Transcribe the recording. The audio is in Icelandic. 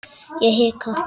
Ég hika.